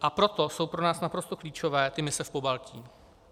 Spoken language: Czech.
A proto jsou pro nás naprosto klíčové ty mise v Pobaltí.